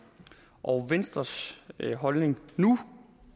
og venstres holdning nu